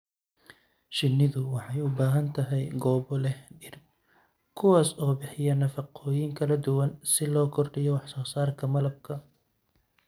Shinnidu waxay u baahan tahay goobo leh dhir kuwaas oo bixiya nafaqooyin kala duwan si loo kordhiyo wax soo saarka malabka.